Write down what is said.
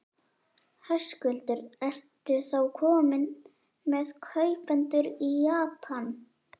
Höskuldur: Ertu þá kominn með kaupendur í Japan?